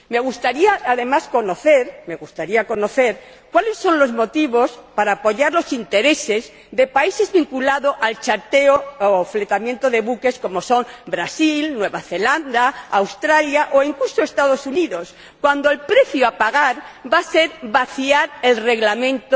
Me gustaría, además, conocer los motivos para apoyar los intereses de países vinculados al charteo o fletamento de buques, como son Brasil, Nueva Zelanda, Australia o incluso los Estados Unidos, cuando el precio a pagar va a ser vaciar el Reglamento